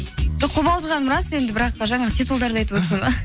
жоқ қобалжығаным рас енді бірақ жаңағы титулдарды айтып отырсың ба